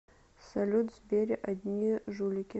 салют в сбере одни жулики